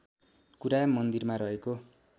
कुरा मन्दिरमा रहेको